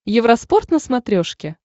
евроспорт на смотрешке